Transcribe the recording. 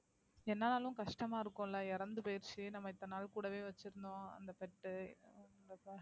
என்னானாலும் கஷ்டமா இருக்கும்ல இறந்து போயிருச்சு, நம்ம இத்தன நாள் கூடவே வச்சிருந்தோம் அந்த pet உ